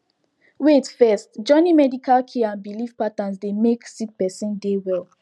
wait first joining medical care and belief patterns dey make sick peron dey well